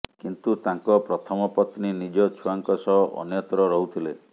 କିନ୍ତୁ ତାଙ୍କ ପ୍ରଥମ ପତ୍ନୀ ନିଜ ଛୁଆଙ୍କ ସହ ଅନ୍ୟତ୍ର ରହୁଥିଲେ